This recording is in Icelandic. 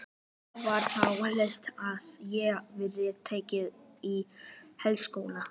Það var þá helst að ég yrði tekin í háskóla!